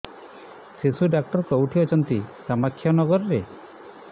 ଶିଶୁ ଡକ୍ଟର କୋଉଠି ଅଛନ୍ତି କାମାକ୍ଷାନଗରରେ